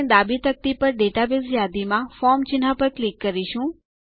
આપણે ડાબી તકતી પર ડેટાબેઝ યાદીમાં ફોર્મ ચિહ્ન પર ક્લિક કરીશું